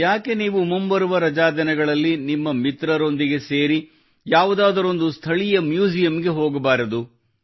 ಯಾಕೆ ನೀವು ಮುಂಬರುವ ರಜಾ ದಿನಗಳಲ್ಲಿ ನಿಮ್ಮ ಮಿತ್ರರೊಂದಿಗೆ ಸೇರಿ ಯಾವುದಾದರೂ ಒಂದು ಸ್ಥಳೀಯ ಮ್ಯೂಸಿಯಂಗೆ ಹೋಗಬಾರದು